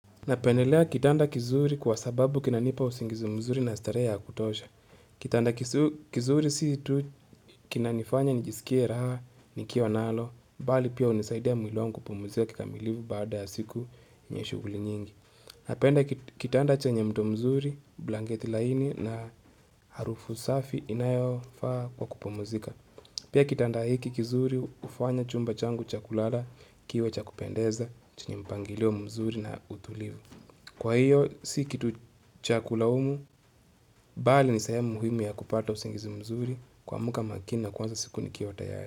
Napendelea kitanda kizuri kwa sababu kinanipa usingizi mzuri na starehe ya kutosha. Kitanda kizuri si tu kinanifanya nijisikie raha nikiwa nalo, bali pia unisaidia mwili wangu kupumuzika kikamilifu baada ya siku yenye shuguli nyingi. Napenda kitanda chenye mto mzuri, blanketi laini na harufu safi inayofaa kwa kupumuzika. Pia kitanda hiki kizuri hufanya chumba changu cha kulala kiwe cha kupendeza chenye mpangilio mzuri na utulivu. Kwa hiyo, si kitu cha kulaumu, bali ni sehemu muhimu ya kupata usingizi mzuri kuamuka makini na kuanza siku ni kiwa tayari.